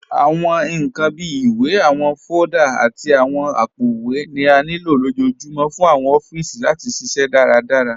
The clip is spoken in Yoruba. Awọn nkan bíi ìwé, awọn fóòlda, àti awọn àpòowé ni à nílo lọjọ́ọ̀júmọ̀ fún awọn òfíìsí láti ṣiṣẹ daradárá